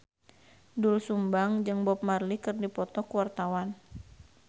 Doel Sumbang jeung Bob Marley keur dipoto ku wartawan